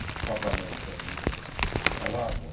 Parlamentem i Radą.